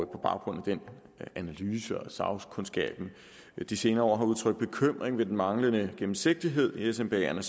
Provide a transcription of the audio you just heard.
baggrund af den analyse og at sagkundskaben de senere år har udtrykt bekymring ved den manglende gennemsigtighed i smbaerne